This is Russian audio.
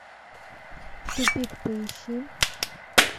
тупик поищи